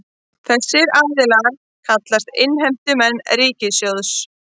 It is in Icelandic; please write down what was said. Þessir aðilar kallist innheimtumenn ríkissjóðs